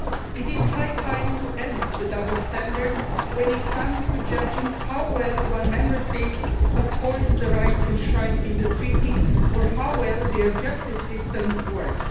It is high time we ended the double standards when it comes to judging how well one Member State upholds the rights enshrined in the Treaty, or how well their justice system works.